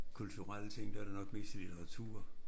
Kulturelle ting der det nok mest litteratur